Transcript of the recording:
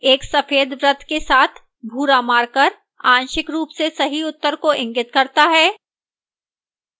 एक सफेद वृत्त के साथ भूरा marker आंशिक रूप से सही उत्तर को इंगित करता है